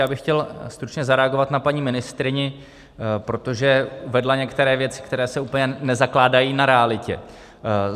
Já bych chtěl stručně zareagovat na paní ministryni, protože uvedla některé věci, které se úplně nezakládají na realitě.